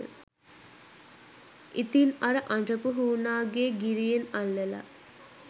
ඉතින් අර අඬපු හුනාගේ ගිරියෙන් අල්ලලා